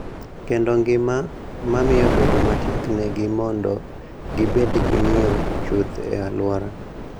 Kendo ngima, ma miyo bedo matek negi mondo gibed gi ng�iyo chuth e alwora.